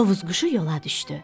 Tovuz quşu yola düşdü.